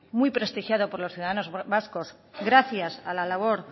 muy prestigiado por los ciudadanos vascos gracias a la labor